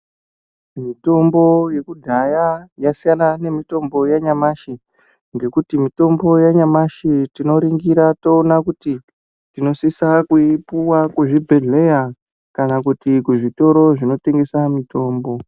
Mitombo yekudhaya yasiyana nemitombo yanyamashi ngekuti mitombo yanyamashi tinoringira toona kuti tinosisa kuipuwa kuzvibhedhlera kana kuti kuzvitoro zvinotengesa mitombo.